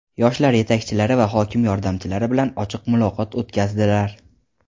yoshlar yetakchilari va hokim yordamchilari bilan ochiq muloqot o‘tkazdilar.